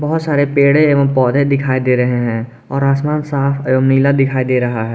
बहोत सारे पेड़े एवं पौधे दिखाई दे रहे हैं और आसमान साफ और नीला दिखाई दे रहा है।